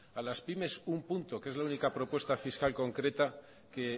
a las pymes un punto que es la única propuesta fiscal concreta que